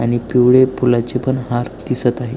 आणि पिवळे फुलाचे पण हार दिसत आहे.